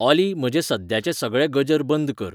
ऑली म्हजे सद्याच्ये सगळे गजर बंद कर